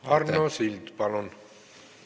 Arno Sild, palun!